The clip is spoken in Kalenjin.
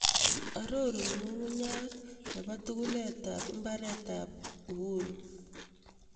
Arorun ng'ung'uny'aat ne po tuguletap iimbaareet ne po Uhuru